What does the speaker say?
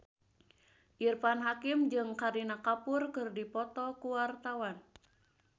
Irfan Hakim jeung Kareena Kapoor keur dipoto ku wartawan